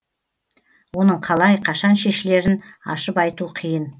оның қалай қашан шешілерін ашып айту қиын